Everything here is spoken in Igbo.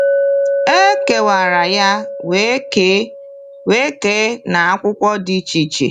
E kewara ya wee kee wee kee n’akwụkwọ dị iche iche.